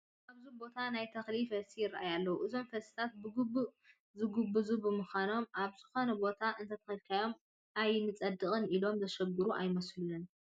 ኣብዚ ቦታ ናይ ተኽሊ ፈልሲ ይርአዩ ኣለዉ፡፡ እዞም ፈልስታት ብግቡእ ዝጐበዙ ብምዃኖም ኣብ ዝኾነ ቦታ እንተተኸሉ ኣይንፀድቕን ኢሎም ዘሽግሩ ኣይመስሉን፡፡